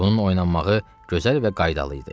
Bunun oynanmağı gözəl və qaydalı idi.